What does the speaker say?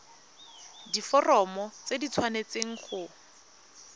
diforomo tse di tshwanesteng go